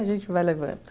A gente vai levando.